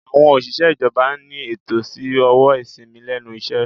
Àwọn òṣìṣẹ́ ìjọba ní ẹ̀tọ́ sí owó ìsìnmi lẹ́nu iṣẹ́.